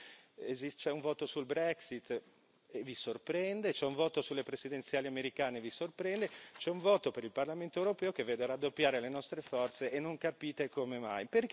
Quindi c'è un voto sulla Brexit e vi sorprende, c'è un voto sulle presidenziali americane e vi sorprende, c'è un voto per il Parlamento europeo che vede raddoppiare le nostre forze e non capite come mai.